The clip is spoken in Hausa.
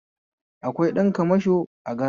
Akwai ɗan kamsho a gareji